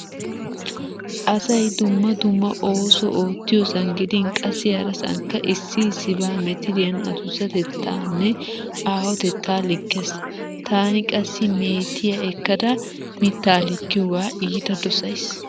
Asay dumma dumma ooso oottiyosan gidin qassi harasankka issi issiba metiriyan adussatettaanne aahotetta likkees. Taani qassi meetiya ekkada mittaa likkiyoga iita dosays.